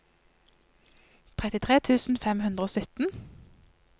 trettitre tusen fem hundre og sytten